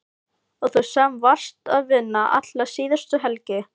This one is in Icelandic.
Og þú sem varst að vinna alla síðustu helgi!